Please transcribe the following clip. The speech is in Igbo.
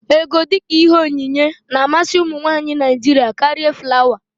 Égo, dịka ihe onyinye na-amasị ụmụnwaanyị Naịjiria karịa flawa.